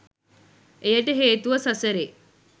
එයට හේතුව සසරේ